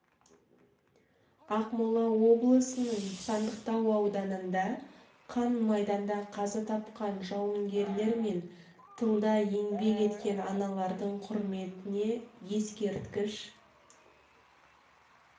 ақмола облысының сандықтау ауданында қан майданда қаза тапқан жауынгерлер мен тылда еңбек еткен аналардың құрметіне ескерткіш